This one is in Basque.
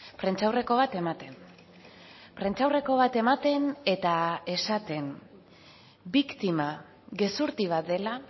prentsaurreko bat ematen prentsaurreko bat ematen eta esaten biktima gezurti bat dela